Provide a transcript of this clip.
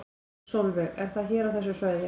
Sólveig: Er það hér á þessu svæði?